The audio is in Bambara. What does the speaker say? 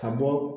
Ka bɔ